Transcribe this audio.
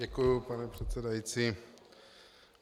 Děkuji, pane předsedající.